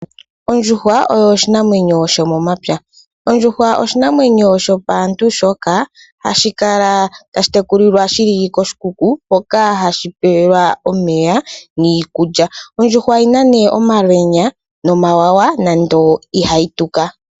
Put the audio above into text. Ondjuhwa oyo oshinamwenyo shomomapya. Ondjuhwa oshinamwenyo shopaantu shoka hashi kala tashi tekulwa shili koshi kuku hoka hashi pewelwa omeya niikulya. Ondjuhwa oyina nee omalwenya nomawawa nande ihayi tuka.